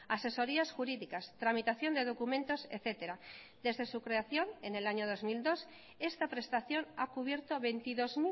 asesorías jurídicas tramitación de documentos etcétera desde su creación en el año dos mil dos esta prestación ha cubierto veintidós